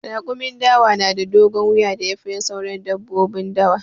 Raƙumin dawa na da dogon wuya da ya fi na sauran dabbobin dawa.